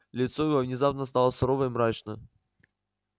лицо его внезапно стало сурово и мрачно